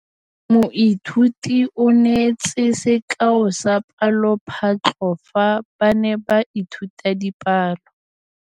Moithuti o neetse sekaô sa palophatlo fa ba ne ba ithuta dipalo.